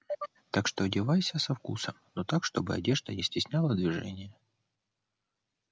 так что одевайся со вкусом но так чтобы одежда не стесняла движение